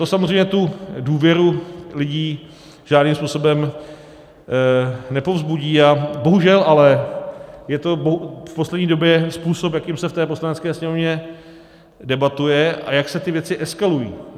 To samozřejmě tu důvěru lidi žádným způsobem nepovzbudí, a bohužel ale je to v poslední době způsob, jakým se v té Poslanecké sněmovně debatuje a jak se ty věci eskalují.